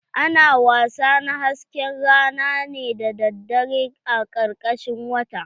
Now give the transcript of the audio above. Ana wasa na hasken rana ne daddare a karkashin wata